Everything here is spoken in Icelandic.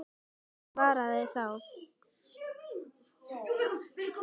Davíð svaraði þá